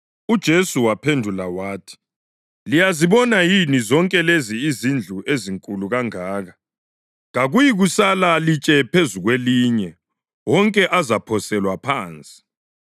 UJesu waphendula wathi, “Liyazibona yini zonke lezi izindlu ezinkulu kangaka? Kakuyikusala litshe phezu kwelinye; wonke azaphoselwa phansi.”